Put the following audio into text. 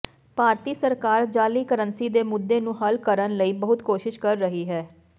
ਭਾਰਤੀ ਸਰਕਾਰ ਜਾਅਲੀ ਕਰੰਸੀ ਦੇ ਮੁੱਦੇ ਨੂੰ ਹੱਲ ਕਰਨ ਲਈ ਬਹੁਤ ਕੋਸ਼ਿਸ਼ ਕਰ ਰਹੀ ਹੈ